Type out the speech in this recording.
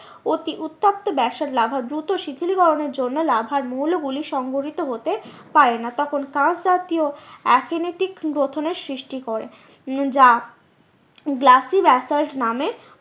অতি উত্তপ্ত basalt lava দূত শীতলীকরণের জন্য লাভার মৌলগুলি সংগঠিত হতে পারে না। তখন জাতীয় গ্রথনের সৃষ্টি করে উম যা গ্লাসি ব্যাসল্ট নামে